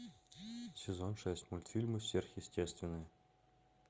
сезон шесть мультфильма сверхъестественное